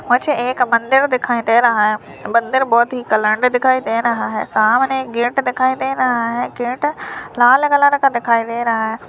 मुझे एक मंदिर दिखाई दे रहा है मंदिर बहोत ही का दिखाई दे रहा है सामने एक गेट दिखाई दे रहा है गेट लाल कलर का दिखाई दे रहा है।